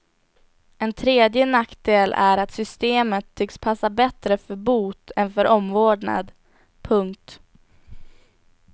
En tredje nackdel är att systemet tycks passa bättre för bot än för omvårdnad. punkt